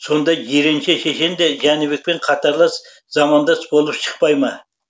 сонда жиренше шешен де жәнібекпен қатарлас замандас болып шықпай ма